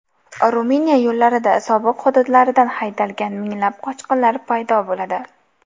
Ruminiya yo‘llarida sobiq hududlaridan haydalgan minglab qochqinlar paydo bo‘ladi.